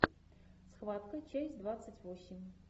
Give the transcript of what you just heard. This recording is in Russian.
схватка часть двадцать восемь